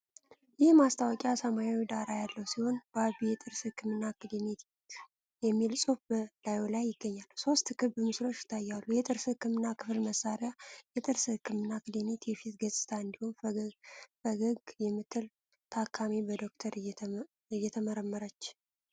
ይህ ማስታወቂያ ሰማያዊ ዳራ ያለው ሲሆን፣ "ባቢ የጥርስ ህክምና ክሊኒክ" የሚል ጽሑፍ በላዩ ላይ ይገኛል። ሶስት ክብ ምስሎች ይታያሉ፤ የጥርስ ህክምና ክፍል መሳሪያዎች፣ የጥርስ ህክምና ክሊኒክ የፊት ገጽታ እንዲሁም ፈገግ የምትል ታካሚ በዶክተር እየተመረመረች።